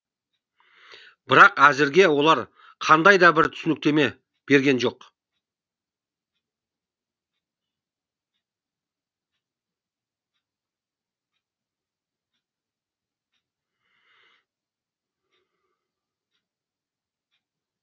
бірақ әзірге олар қандай да бір түсініктеме берген жоқ